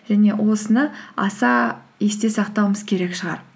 және осыны аса есте сақтауымыз керек шығар